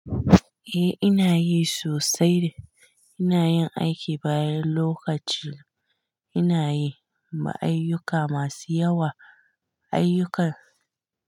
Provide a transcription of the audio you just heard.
Eh, ina yi sosai. Ina yin aiki bayan lokaci, ina yin ayyuka masu yawa, ayyukan.